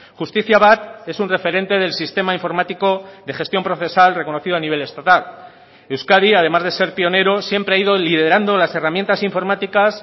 justizia bat es un referente del sistema informático de gestión procesal reconocido a nivel estatal euskadi además de ser pionero siempre ha ido liderando las herramientas informáticas